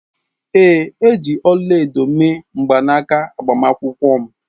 Ee. e ji ọla-edo mee mgbanaka agbamakwụkwọ m.